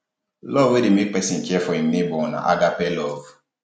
love wey de make persin care for im neighbor na um agape love